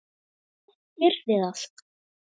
Hversu gott yrði það?